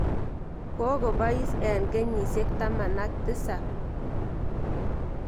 Koko pois eng' kenyisyek taman ak tisap.